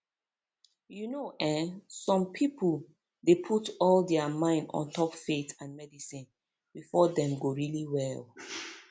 you know eh some pipo dey put all dia mind ontop faith and medicine befor dem go really well